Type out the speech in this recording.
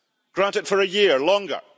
Grant it for a year, longer.